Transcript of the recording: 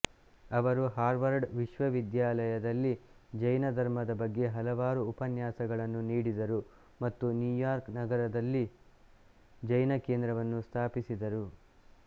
ಅವರು ಹಾರ್ವರ್ಡ್ ವಿಶ್ವವಿದ್ಯಾಲಯದಲ್ಲಿ ಜೈನ ಧರ್ಮದ ಬಗ್ಗೆ ಹಲವಾರು ಉಪನ್ಯಾಸಗಳನ್ನು ನೀಡಿದರು ಮತ್ತು ನ್ಯೂಯಾರ್ಕ್ ನಗರದಲ್ಲಿ ಜೈನ ಕೇಂದ್ರವನ್ನು ಸ್ಥಾಪಿಸಿದರು